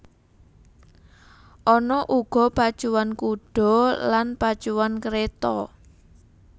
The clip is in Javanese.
Ana uga pacuan kuda lan pacuan kereta